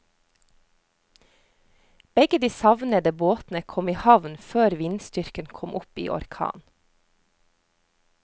Begge de savnede båtene kom i havn før vindstyrken kom opp i orkan.